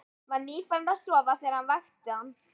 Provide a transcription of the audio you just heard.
Var nýfarinn að sofa þegar hann vakti hann.